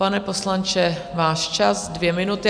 Pane poslanče, váš čas, dvě minuty.